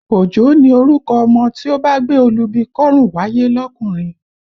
Òjó ni orúkọ ọmọ tí ó bá gbé olúbi kọ́rùn wáyé lọkùnrin